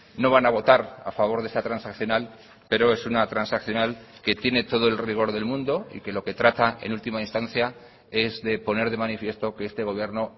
no van a votar a favor de esta transaccional pero es una transaccional que tiene todo el rigor del mundo y que lo que trata en última instancia es de poner de manifiesto que este gobierno